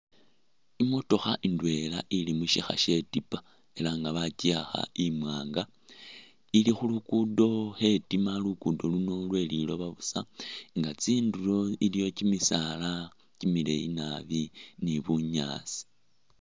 Imotokha indwela ili mushikha she tipa ela nga bakyiwakha imwanga ili khulugudo khetima lugudo luno lwe’liloba busa nga tsinduro iloyo kyi misaala kyi mileeyi nabi ni bunyaasi.